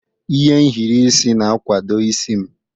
Ihe nhiri isi na-akwado isi m.